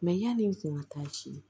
yani n kun ka taa ci